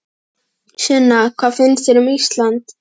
Sunna: Hvað finnst þér um Ísland?